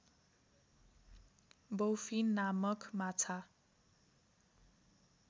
bowfin नामक माछा